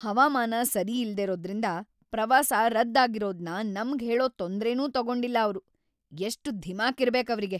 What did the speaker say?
ಹವಾಮಾನ ಸರಿಯಿಲ್ದಿರೋದ್ರಿಂದ ಪ್ರವಾಸ ರದ್ದ್‌ ಆಗಿರೋದ್ನ ನಮ್ಗ್‌ ಹೇಳೋ ತೊಂದ್ರೆನೂ ತಗೊಂಡಿಲ್ಲ ಅವ್ರು, ಎಷ್ಟ್‌ ಧಿಮಾಕಿರ್ಬೇಕ್‌ ಅವ್ರಿಗೆ!